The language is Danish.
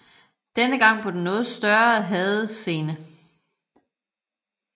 Denne gang på den noget større HADES scene